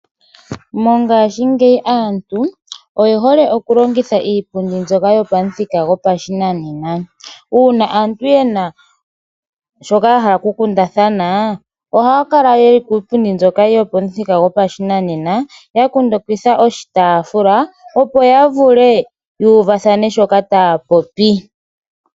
Mongashingeyi aantu oye hole oku longitha iipundi mbyoka yopamuthika gopashinanena. Uuna aantu yena shoka ya hala oku kundathana ohaya kala yeli kiipundi mbyoka yopamuthika gopashinanena ya kundukidha oshitaafula opo ya vule yu uvathane shoka taya popi.